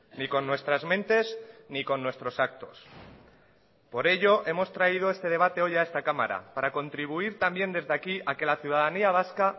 ni con nuestras mentes ni con nuestros actos por ello hemos traído este debate hoy a esta cámara para contribuir también desde aquí a que la ciudadanía vasca